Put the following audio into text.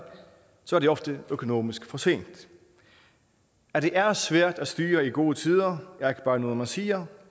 så er det ofte økonomisk for sent at det er svært at styre i gode tider er ikke bare noget man siger